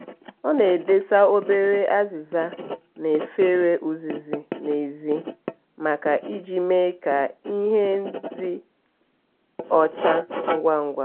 ọ na-edesa obere azịza na efere uzuzu n'ezi make iji eme ka ihe dị ọcha ngwa ngwa.